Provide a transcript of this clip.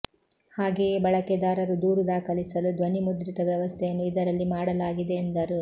ಹಾಗೆಯೇ ಬಳಕೆದಾರರು ದೂರು ದಾಖಲಿಸಲು ಧ್ವನಿಮುದ್ರಿತ ವ್ಯವಸ್ಥೆಯನ್ನು ಇದರಲ್ಲಿ ಮಾಡಲಾಗಿದೆ ಎಂದರು